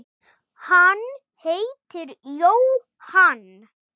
Hann heitir Jóhann